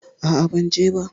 A'a, ban je ba.